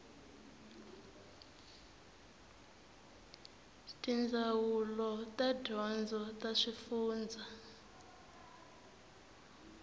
tindzawulo ta dyondzo ta swifundzha